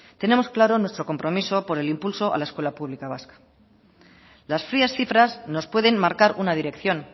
tenemos claro nuestro compromiso por el impulso a la escuela pública vasca las frías cifras nos pueden marcar una dirección